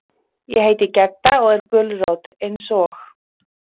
Ég heiti Gedda og er gulrót, eins og.